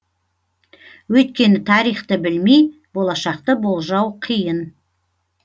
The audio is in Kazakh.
өйткені тарихты білмей болашақты болжау қиын